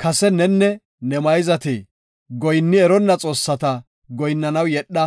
“Kase nenne ne mayzati goyinni eronna xoossata goyinnanaw yedha.